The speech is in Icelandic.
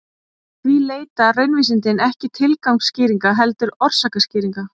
Því leita raunvísindin ekki tilgangsskýringa heldur orsakaskýringa.